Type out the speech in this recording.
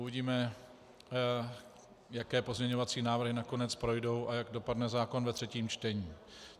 Uvidíme, jaké pozměňovací návrhy nakonec projdou a jak dopadne zákon ve třetím čtení.